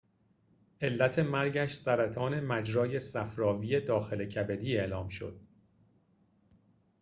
علت مرگش سرطان مجرای صفراوی داخل کبدی اعلام شد